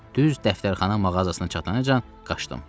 Düz dəftərxana mağazasına çatanacan qaçdım.